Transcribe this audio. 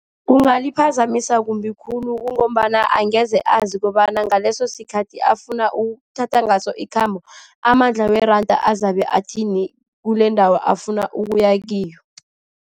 Kungaliphazamisa kumbi khulu ngombana angeze azi kobana ngaleso sikhathi afuna ukuthatha ngaso ikhambo, amandla weranda azabe athini kulendawo afuna ukuya kiyo.